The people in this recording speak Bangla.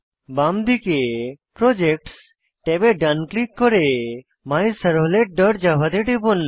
বাম দিকে প্রজেক্টস ট্যাবে ডান ক্লিক করে মাইসার্ভলেট ডট জাভা তে টিপুন